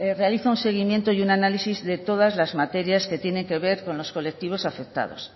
realiza un seguimiento y un análisis de todas las materias que tiene que ver con los colectivos afectados